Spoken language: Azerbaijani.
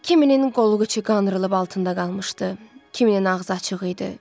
Kiminin qolluğu çiqanırılıb altında qalmışdı, kiminin ağzı açıq idi.